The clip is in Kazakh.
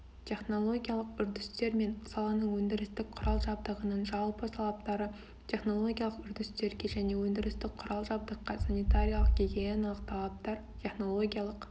технологиялық үрдістер мен саланың өндірістік құрал-жабдығының жалпы талаптары технологиялық үрдістерге және өндірістік құрал-жабдыққа санитариялық-гигиеналық талаптар технологиялық